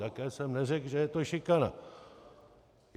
Také jsem neřekl, že je to šikana.